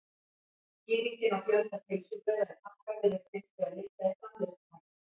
skýringin á fjölda pylsubrauða í pakka virðist hins vegar liggja í framleiðslutækninni